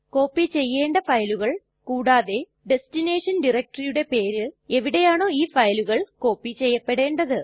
copy ചെയ്യണ്ട ഫയലുകൾ കൂടാതെ ഡെസ്റ്റിനേഷൻ DIRECTORYയുടെ പേര് എവിടെയാണോ ഇ ഫയലുകൾ കോപ്പി ചെയ്യപ്പെടേണ്ടത്